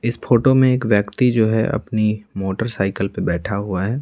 इस फोटो में एक व्यक्ति जो है अपनी मोटरसाइकिल पर बैठा हुआ है।